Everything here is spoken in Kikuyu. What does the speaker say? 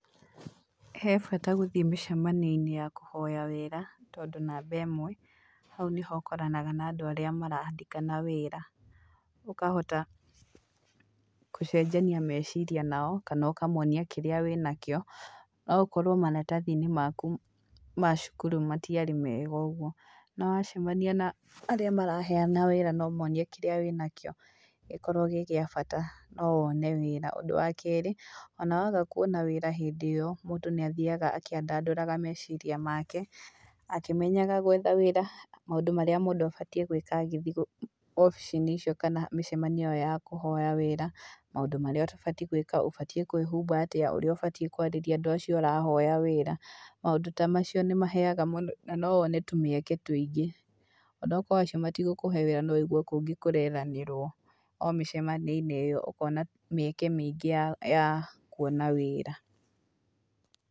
He bata gũthiĩ mĩcamanio-inĩ ya kũhoya wĩra, tondũ namba ĩmwe, hau nĩho ũkoranaga na andũ arĩa marandĩkana wĩra, ũkahota kũcenjania meciria nao kana ũkamonia kĩrĩa wĩ nakĩo. No gũkorwo maratathi-inĩ maku ma cukuru matiarĩ mega ũguo no wacemania na arĩa maraheana wĩra na ũmonie kĩríĩ wĩnakĩo gĩkorwo gĩ gĩa bata no wone wĩra. Ũndũ wa kerĩ ona waga kwona wĩra hĩndĩ ĩyo mũndũ nĩ athiaga akĩandandũraga meciria make akĩmenyaga gwetha wĩra, maũndũ marĩa mũndũ abatiĩ gwĩka agĩthiĩ obici-inĩ icio kana mĩcemanio ĩyo ya kũhoya wĩra, maũndũ marĩa ũtabatiĩ gwĩka, ũbatiĩ kwĩhumba atĩa, ũrĩa ũbatiĩ kwararĩria andũ acio ũrahoya wĩra, maũndũ ta macio nĩ maheaga mũndũ, na no wone tũmieke tũingĩ. Ona okorwo acio matigũkũhe wĩra no wũigue kũngĩ kũrethanĩrwo, o mĩcemanio-inĩ iyo ũkona mĩeke mĩingĩ ya ya kuona wĩra.